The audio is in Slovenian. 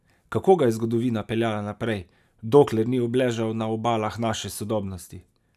Kako ga je zgodovina peljala naprej, dokler ni obležal na obalah naše sodobnosti?